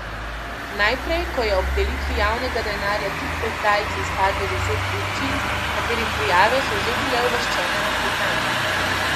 Najprej ko je ob delitvi javnega denarja tik pred zdajci izpadlo deset občin, katerih prijave so že bile uvrščene na seznam.